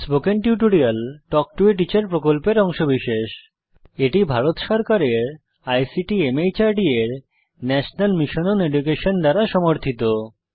spoken tutorial talk to a teacher প্রকল্পের অংশবিশেষ এটি ভারত সরকারের আইসিটি মাহর্দ এর ন্যাশনাল মিশন ওন এডুকেশন দ্বারা সমর্থিত